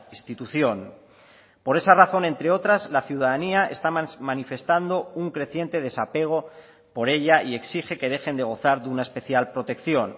institución por esa razón entre otras la ciudadanía está manifestando un creciente desapego por ella y exige que dejen de gozar de una especial protección